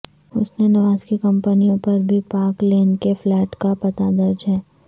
حسن نواز کی کمپنیوں پر بھی پارک لین کے فلیٹ کا پتہ درج ہے